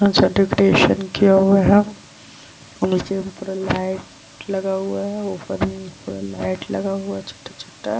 अच्छा डेकोटेसन किया हुआ है और नीचे में पूरा लाइट लगा हुआ है। ऊपर में पूरा लाइट लगा हुआ छोटा-छोटा।